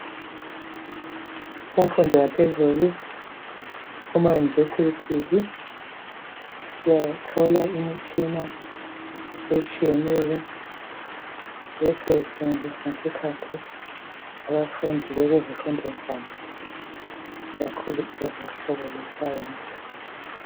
Kumfundo yaphezulu kumayunivesi siyathola imitshina etshiyeneyo esetshenziswa ngesikhathi abafundi bekuzifundo zabo kakhulu uhlobo lwe"science".